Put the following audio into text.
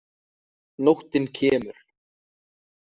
Nóttin kemur.